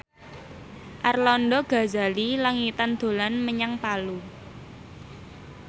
Arlanda Ghazali Langitan dolan menyang Palu